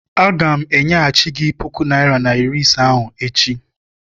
Aga m enyeghachi gị puku naịra na iri ise ahụ echi.